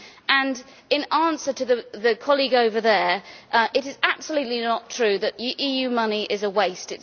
And in answer to the colleague over there, it is absolutely not true that EU money is a waste.